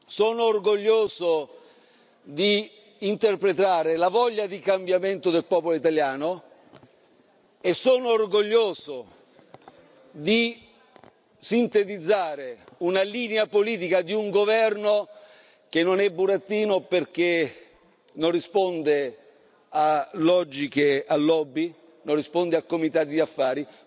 Sono orgoglioso di interpretare la voglia di cambiamento del popolo italiano e sono orgoglioso di sintetizzare una linea politica di un governo che non è burattino perché non risponde a logiche, a lobby, non risponde a comitati di affari.